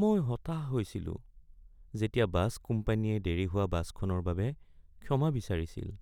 মই হতাশ হৈছিলো যেতিয়া বাছ কোম্পানীয়ে দেৰি হোৱা বাছখনৰ বাবে ক্ষমা বিচাৰিছিল,